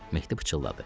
Mehdi pıçıldadı.